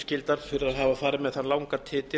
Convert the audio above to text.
hafa farið með þann langa titil